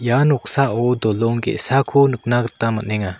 ia noksao dolong ge·sako nikna gita man·enga.